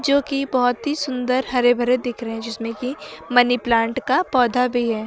जो कि बहुत ही सुंदर हरे भरे दिख रहे हैं जिसमें कि मनी प्लांट का पौधा भी है।